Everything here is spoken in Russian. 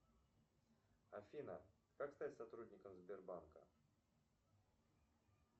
афина как стать сотрудником сбербанка